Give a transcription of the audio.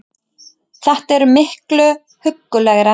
Þetta er miklu huggulegra